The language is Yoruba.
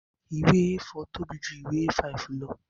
Ìwé A4 tóbi ju ìwé A5 lọ